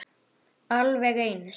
Alveg eins.